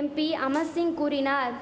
MP Amar Singh கூறினார்